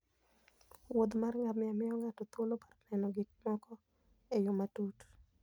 wuodh mar ngamia miyo ng'ato thuolo mar neno gik moko e yo matut.